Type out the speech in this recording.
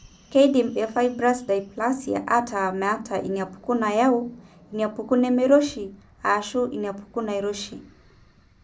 Keidim eFibrous dysplasia ataa meeta inaapuku naayau, inaapuku nemeiroshi, ashu inaapuku nairoshi.